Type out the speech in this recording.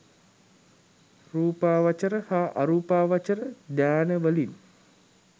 රූපාවචර හා අරූපාවචර ධ්‍යාන වලින්